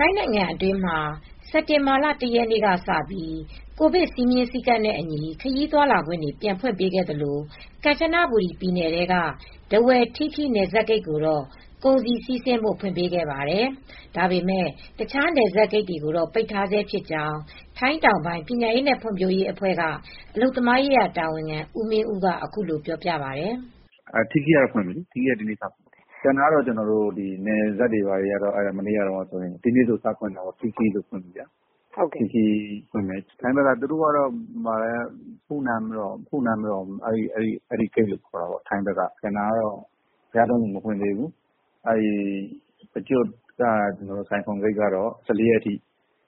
ိုင်းနိုင်ငံတွင်းမှာ စက်တင်ဘာလ ၁ ရက်နေ့ကစပြီး ကိုဗစ်စည်းမျဉ်းစည်းကမ်းနဲ့အညီ ခရီးသွားလာခွင့်တွေပြန်ဖွင့်ပေးခဲ့သလို ကန်ချနဘူရီပြည်နယ်ထဲက ထားဝယ်၊ ထီးခီး နယ်စပ်ဂိတ်ကိုတော့ ကုန်စည်စီးဆင်းဖို့ ဖွင့်ပေးခဲ့ပါတယ်။ ဒါပေမယ့် တခြားနယ်စပ်ဂိတ်တွေကိုတော့ ပိတ်ထားဆဲဖြစ်ကြောင်း ထိုင်းတောင်ပိုင်းအခြေစိုက် ပညာရေးနဲ့ဖွံဖြိုးရေးအဖွဲ့က အလုပ်သမားရေးရာတာဝန်ခံ ဦးမင်းဦးက ပြောပါတယ်။ "ထီးခီးကတော့ ဒီနေ့စဖွင့်တယ်။ သူတို့ကတော့ ဖုနန့်ရော်လို့ ခေါ်တယ်။ ထိုင်းဘက်ကတော့ ဘုရားသုံးဆူ မဖွင့်သေးဘူး။ ပရကျွတ် ကရိန်ကန်ဘက်က ဆိုင်ခုံဂိတ်ကတော့ ၁၄ ရက်နေ့ထိ